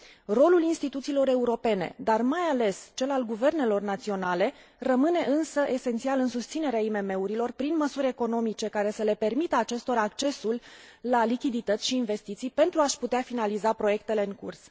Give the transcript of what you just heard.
Rolul instituțiilor europene, dar mai ales cel al guvernelor naționale rămâne, însă, esențial în susținerea IMM urilor, prin măsuri economice care să le permită acestora accesul la lichidități și investiții pentru a și putea finaliza proiectele în curs.